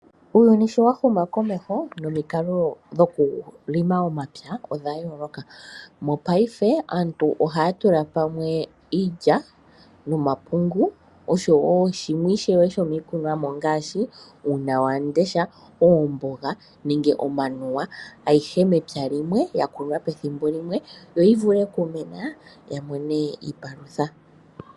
Uuyuni sho wa huma komeho, nomikalo dhokulonga omapya odha yooloka. Mopaife aantu ohaya tula pamwe iilya nomapungu osho woo shimwe ishewe shomiikunomwa ngaashi uunwamundesha, oomboga nenge omanuwa ayihe mepya limwe, ya kunwa pethimbo limwe yi vule okumena ya mone iipalutha.